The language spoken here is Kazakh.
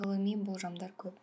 ғылыми болжамдар көп